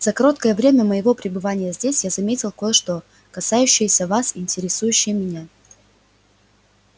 за короткое время моего пребывания здесь я заметил кое-что касающееся вас и интересующее меня